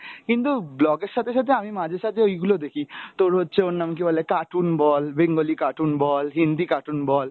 কিন্তু vlog এর সাথে সাথে আমি মাঝে সাঝে ঐগুলো দেখি তোর হচ্ছে ওর নাম কি বলে cartoon ব্‌ bengali cartoon বল, হিন্দি cartoon বল,